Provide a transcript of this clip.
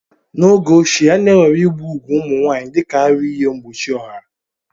N'oge ochie, a na-ewere igbu ugwu ụmụ nwanyị dịka aruihe mgbochi ọha.